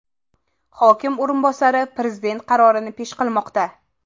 Hokim o‘rinbosari Prezident qarorini pesh qilmoqda.